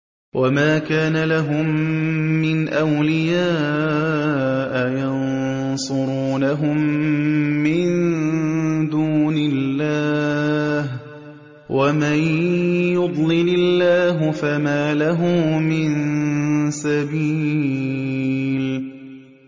وَمَا كَانَ لَهُم مِّنْ أَوْلِيَاءَ يَنصُرُونَهُم مِّن دُونِ اللَّهِ ۗ وَمَن يُضْلِلِ اللَّهُ فَمَا لَهُ مِن سَبِيلٍ